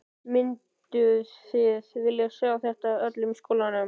Mynduð þið vilja sjá þetta í öllum skólanum?